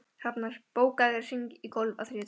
Hrafnar, bókaðu hring í golf á þriðjudaginn.